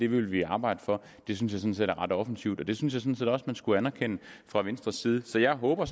vil vi arbejde for det synes jeg er ret offensivt og det synes at man skulle anerkende fra venstres side så jeg håber